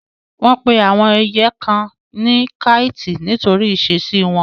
Wọ́n pe àwọn ẹyẹ kan ní káìtì nítorí ìṣesí wọn.